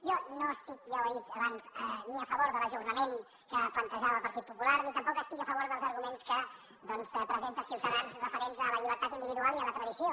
jo no estic ja ho he dit abans ni a favor de l’ajornament que plantejava el partit popular ni tampoc estic a favor dels arguments que presenta ciutadans referents a la llibertat individual i a la tradició